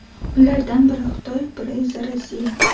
Ulardan biri Xitoy, biri esa Rossiya.